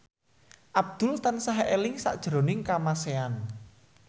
Abdul tansah eling sakjroning Kamasean